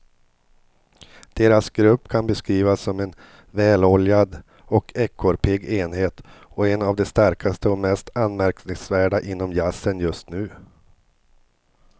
Deras grupp kan beskrivas som en väloljad och ekorrpigg enhet och en av de starkaste och mest anmärkningsvärda inom jazzen just nu.